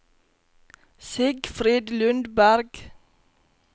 Sigfrid Lundberg